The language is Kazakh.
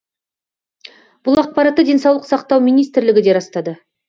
бұл ақпаратты денсаулық сақтау министрлігі де растады